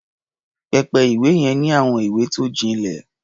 Pẹpẹ-ìwé yẹn ní àwọn ìwé tó jinlẹ̀.